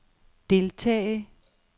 deltage